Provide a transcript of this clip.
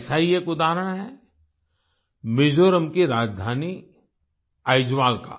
ऐसा ही एक उदाहरण है मिज़ोरम की राजधानी आइजवाल का